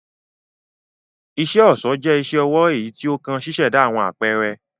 Iṣẹ-ọṣọ jẹ̀ iṣẹ-ọwọ eyí tí o kàn ṣiṣẹda awọn apẹrẹ